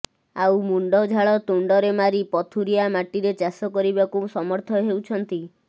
ଆଉ ମୁଣ୍ଡ ଝାଳ ତୁଣ୍ଡରେ ମାରି ପଥୁରିଆ ମାଟିରେ ଚାଷ କରିବାକୁ ସମର୍ଥ ହେଉଛନ୍ତି